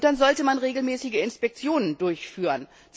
Dann sollte man regelmäßige Inspektionen durchführen.